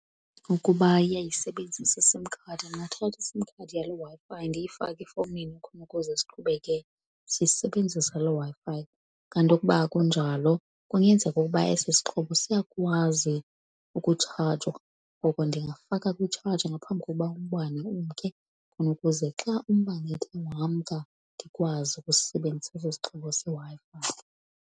Ukuba iyayisebenzisa iSIM card, ndingathatha iSIM card yaloo Wi-Fi ndiyifake efowunini khona ukuze siqhubeke siyisebenzisa loo Wi-Fi. Kanti ukuba akunjalo kungenzeka ukuba esi sixhobo siyakwazi ukutshajwa ngoko ndingafaka kwitshaji ngaphambi kokuba umbane umke, khona ukuze xa umbane ethe wamka, ndikwazi ukusisebenzisa eso sixhobo seWi-Fi.